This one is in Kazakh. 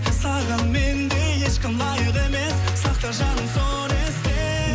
саған мендей ешкім лайық емес сақта жаным соны есте